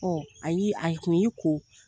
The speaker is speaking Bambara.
Ɔ ayi a tun y'i ko